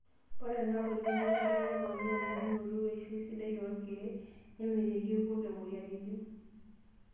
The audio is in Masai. Ore ena puliya enkare neponaa embulunoto weishioi sidai oorkiek, nemitiki irkurt omoyiaritin.